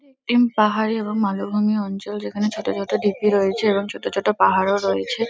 M পাহাড়ে এবং মালভুমি অঞ্চল যেখানে ছোট ছোট ঢিপি রয়েছে এবং ছোট পাহাড়ও রয়েছে।